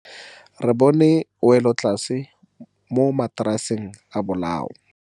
Re bone wêlôtlasê mo mataraseng a bolaô.